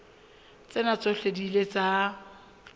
tsena tsohle di ile tsa